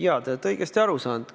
Jaa, te olete õigesti aru saanud.